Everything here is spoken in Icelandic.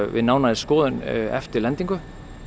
við nánari skoðun eftir lendingu